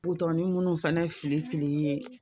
Butɔni minnu fɛnɛ fili fili ye